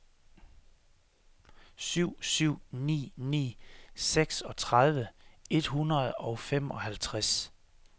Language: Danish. syv syv ni ni seksogtredive et hundrede og femoghalvtreds